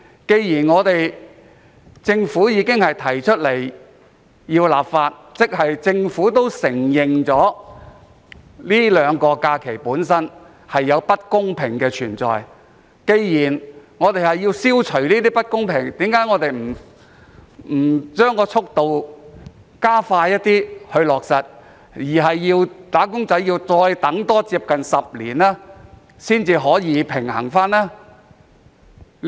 既然政府已準備好立法，即政府承認兩套不同的假期存在不公平，並有需要消除不公平的情況，為何不加快落實速度，要"打工仔"再多等近10年呢？